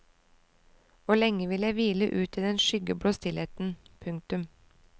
Og lenge vil jeg hvile ut i den skyggeblå stillheten. punktum